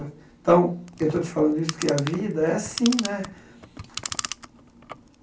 Então, eu estou te falando isso, que a vida é assim né.